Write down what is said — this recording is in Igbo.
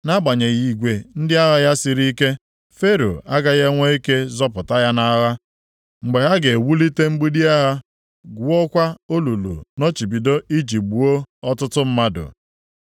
Nʼagbanyeghị igwe ndị agha ya siri ike, Fero agaghị enwe ike zọpụta ya nʼagha, mgbe ha ga-ewulite mgbidi agha, gwuokwa olulu nnọchibido iji gbuo ọtụtụ mmadụ.